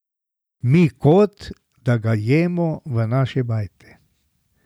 Mi kot, da ga jemo v naši bajti.